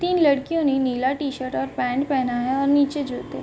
तीन लड़कियों ने नीला टी-शर्ट और पैंट पहना हैं और नीचे जूते।